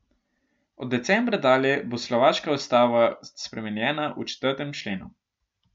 Od decembra dalje bo slovaška ustava spremenjena v četrtem členu.